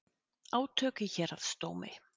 Átök í héraðsdómi